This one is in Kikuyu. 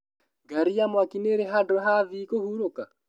Ngari ya mwaki nĩĩri handũ ha athii kũhuruka?